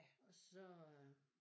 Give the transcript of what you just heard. Og så øh